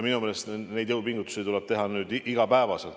Minu meelest tuleb neid jõupingutusi teha iga päev.